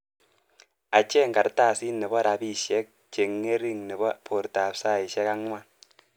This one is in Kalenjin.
Acheng kartasit nebo rapishek cheng'ering nebo bortap saishek angwan.